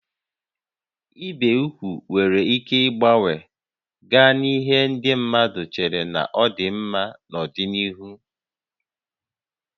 Ibi úgwù nwere ike gbanwee gaa n'ihe ndị mmadụ chere na ọ dị mma n'ọdịnihu